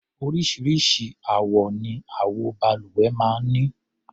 Oríṣiríṣi àwọ ni àwo-balùwẹ̀ máa ń ní.